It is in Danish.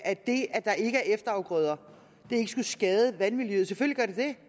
at det at der ikke er efterafgrøder ikke skulle skade vandmiljøet selvfølgelig